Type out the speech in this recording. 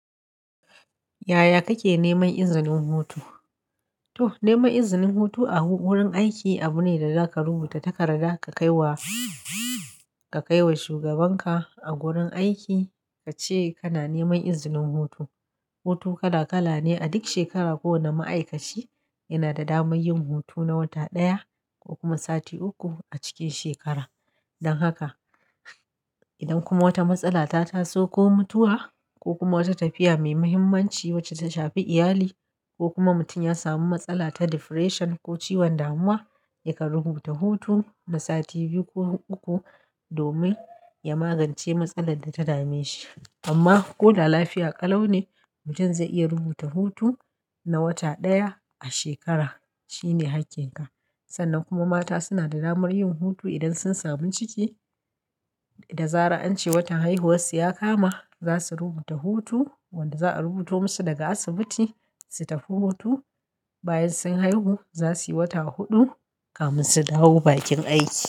Yaya kake neman izinin hutu? To, neman izinin hutu a wurin aiki abu ne da za ka rubuta takarda ka kai wa, ka kai wa shugabanka a gurin aiki ka ce kana neman izinin hutu. Hutu kala-kala ne, a duk shekara kowane ma'aikaci yana da damar yin hutu na wata ɗaya ko kuma sati uku a cikin shekara. Don haka, idan kuma wata matsala ta taso ko mutuwa ko kuma wata tafiya mai muhimmanci wacce ta shafi iyali ko kuma mutum ya samu matsala ta depression ko ciwon damuwa, ya ka rubuta hutu na sati biyu ko uku domin ya magance matsalar da ta dame shi. Amma ko da lafiya ƙalau ne, mutum zai iya rubuta hutu na wata ɗaya a shekara, shine hakkin ka. Sannan kuma mata suna da damar yin hutu idan sun samu ciki da zara'ance watan haihuwarsu ya kama, za su rubuta hutu wanda za'a rubuto musu daga asibiti su tafi hutu. Bayan sun haihu, za suyi wata huɗu kamin su dawo bakin aiki.